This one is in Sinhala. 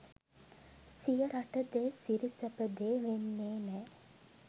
සිය රට දේ සිරි සැප දේ වෙන්නේ නෑ